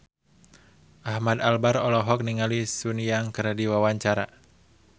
Ahmad Albar olohok ningali Sun Yang keur diwawancara